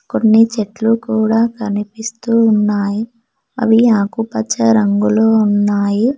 కొన్ని చెట్ల కూడా కనిపిస్తు ఉన్నాయి అవి ఆకు పచ్చ రంగు లో ఉన్నాయి